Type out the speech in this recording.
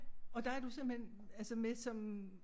Og der er du simpelthen altså med som